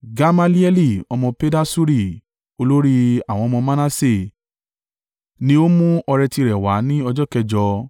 Gamalieli ọmọ Pedasuri, olórí àwọn ọmọ Manase ni ó mú ọrẹ tirẹ̀ wá ní ọjọ́ kẹjọ.